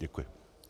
Děkuji.